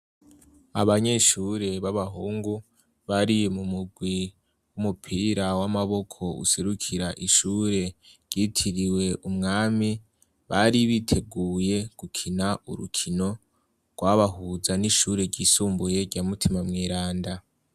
Abanyeshure b'abahungu bari mu mugwi w'umupira w'amaboko userukira ishure ryitiriwe umwami bari biteguye gukina urukino rwabahuza n'ishure ryisumbuye rya mutima mwiranda.